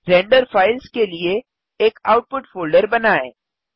render files के लिए एक आउटपुट फ़ोल्डर बनाएँ